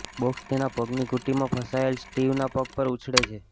box તેના પગની ઘૂંટીમાં ફસાયેલ સ્ટીવના પગ પર ઉછળે છે